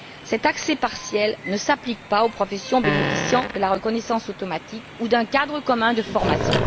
Cet accès partiel ne s'applique pas aux professions bénéficiant de la reconnaissance automatique ou d'un cadre commun de formation.